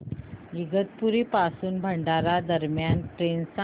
इगतपुरी पासून भंडारा दरम्यान ट्रेन सांगा